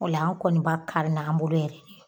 Ola an kɔni b'a kari n' an bolo yɛrɛ de ye